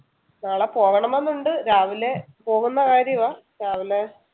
നാളെ പോവണമെന്നുണ്ട് രാവിലെ പോകുന്ന കാര്യവാ രാവിലെ